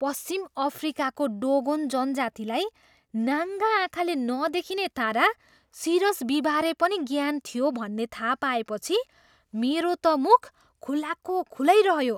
पश्चिम अफ्रिकाको डोगोन जनजातिलाई नाङ्गा आँखाले नदेखिने तारा, सिरस बीबारे पनि ज्ञान थियो भन्ने थाहा पाएपछि मेरो त मुख खुलाको खुलै रह्यो।